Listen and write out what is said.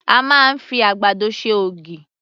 A máa ń fi àgbàdo ṣe ògì.